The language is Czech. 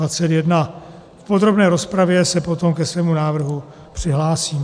V podrobné rozpravě se potom ke svému návrhu přihlásím.